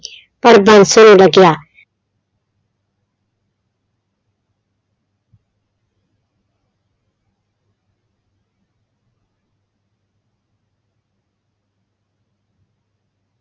ਪਰ ਬਾਂਸੋ ਨੂੰ ਲੱਗਿਆ।